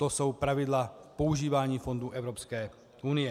To jsou pravidla používání fondů Evropské unie.